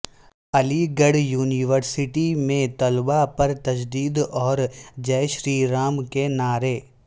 علی گڑھ یونیورسٹی میں طلبہ پر تشدد اور جے شری رام کے نعرے